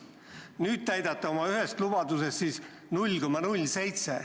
Nüüd täidate oma ühest lubadusest siis 0,07.